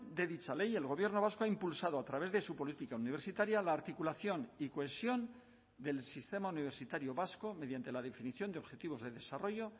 de dicha ley el gobierno vasco ha impulsado a través de su política universitaria la articulación y cohesión del sistema universitario vasco mediante la definición de objetivos de desarrollo